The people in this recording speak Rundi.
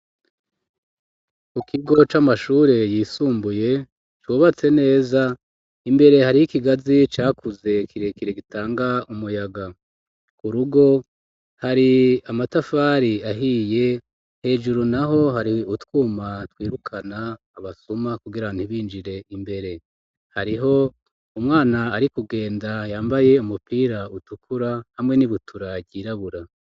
Ku kigo c'amashure yisumbuye cubatse neza, imbere hariho ikigazi cakuze kirekire gitanga umuyaga. Ku rugo hari amatafari ahiye, hejuru naho hari utwuma twirukana abasuma kugira ntibinjire imbere. Hariho umwana ari kugenda yambaye umupira utukura hamwe n'ibutura ryirabura.